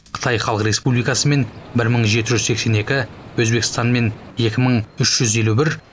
қытай халық республикасымен бір мың жеті жүз сексен екі өзбекстанмен екі мың үш жүз елу бір